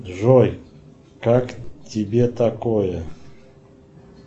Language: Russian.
джой как тебе такое